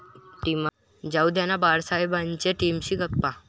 जाऊंद्याना बाळासाहेब'च्या टीमशी गप्पा